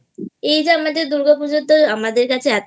এই যে আমাদের দুর্গাপুজো আমাদের কাছে